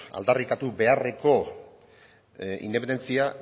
aldarrikatu beharreko independentzia